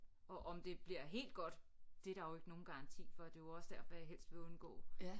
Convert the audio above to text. Og om det bliver helt godt det er der jo ikke nogen garanti for det er jo også derfor jeg helst vil undgå